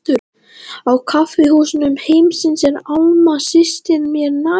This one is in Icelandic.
Á kaffihúsum heimsins er Alma systir mér nær.